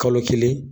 Kalo kelen